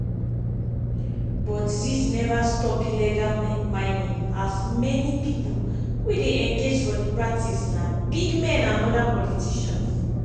but dis neva stop illegal mining as many pipo wey dey engage for di practice na big men and oda politicians.